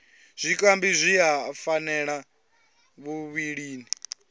zwikambi zwi a fhaṱela muvhilini